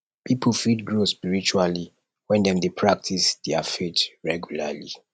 pipo fit grow spiritually wen dem practice their faith regularly